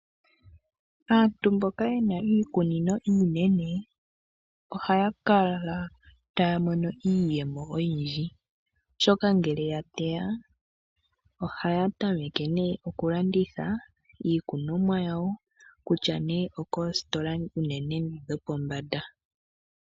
Aantu mboka yena iikunino iinene ohaya kala taya mono iiyemo oyindji ,oshoka ngele yateya ohaya tameke oku landitha iikunomwa yawo kutya nee okoositola unene tuu ndhidho pombanda.